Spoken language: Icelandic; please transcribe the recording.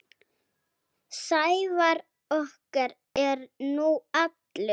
Sævar okkar er nú allur.